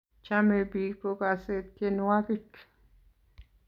Chamei piik kokase tyenwogik